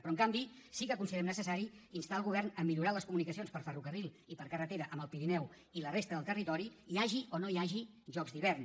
però en canvi sí que considerem necessari instar el govern a millorar les comunicacions per ferrocarril i per carretera amb el pirineu i la resta del territori hi hagi o no hi hagi jocs d’hivern